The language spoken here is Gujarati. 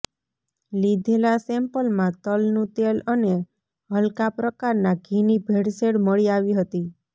લીધેલા સેમ્પલમાં તલનું તેલ અને હલકા પ્રકારના ઘીની ભેળસેળ મળી આવી હતી